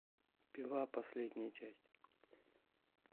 пила последняя часть